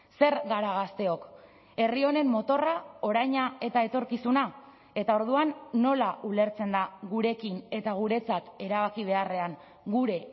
zer gara gazteok herri honen motorra oraina eta etorkizuna eta orduan nola ulertzen da gurekin eta guretzat erabaki beharrean gure